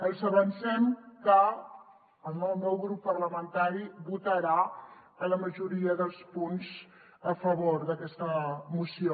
els avancem que el meu grup parlamentari votarà en la majoria dels punts a favor d’aquesta moció